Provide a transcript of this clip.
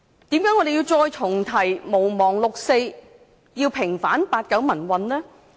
為何我們要重提毋忘六四及平反八九民運？